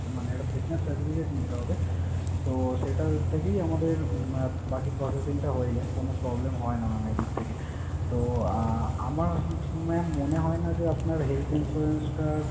মানে একটা fitness certificate নিতে হবে। তো সেটা থেকেই আমাদের আহ বাকি processing টা হয়ে যায়, কোন problem হয় না mam এদিক থেকে। তো আহ আমার mam মনে হয় না যে আপনার health insurance টার,